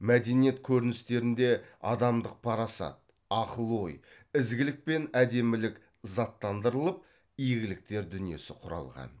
мәдениет көріністерінде адамдық парасат оқыл ой ізгілік пен әдемілік заттандырылып игіліктер дүниесі құралған